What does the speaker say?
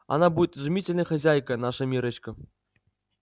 она будет изумительной хозяйкой наша миррочка